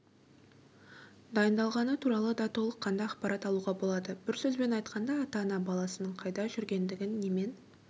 дайындалғаны туралы да толыққанды ақпарат алуға болады бір сөзбен айтқанда ата-ана баласының қайда жүргендігін немен